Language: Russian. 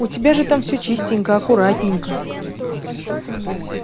у тебя же там все чистенько аккуратненько